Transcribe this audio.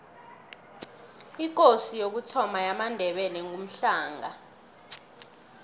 ikosi yokuthoma yamandebele ngumhlanga